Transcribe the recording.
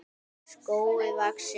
skógi vaxinn.